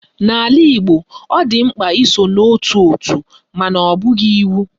N'ala Igbo, ọ dị mkpa iso n'ótù òtù mana ọ bụghị iwu